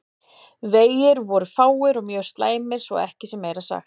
Vegir voru fáir og mjög slæmir svo að ekki sé meira sagt.